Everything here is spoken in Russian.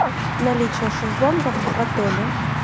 наличие шезлонгов в отеле